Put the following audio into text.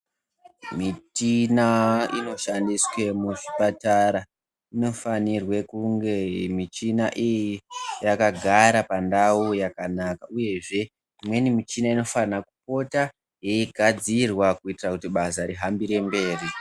Michina inoshandiswe kunge michina iyi yakagare pandau yakanaka uyezve imweni michina inofana kupota yeigadzirwa kuitira kuti basa rihambire mberi.